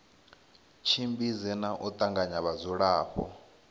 tshimbidze na u tanganya vhadzulapo